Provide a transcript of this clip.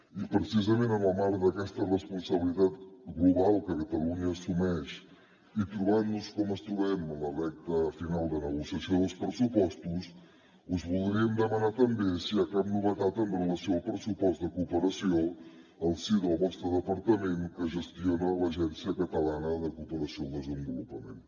i precisament en el marc d’aquesta responsabilitat global que catalunya assumeix i trobant nos com ens trobem en la recta final de negociació dels pressupostos us voldríem demanar també si hi ha cap novetat amb relació al pressupost de cooperació al si del vostre departament que gestiona l’agència catalana de cooperació al desenvolupament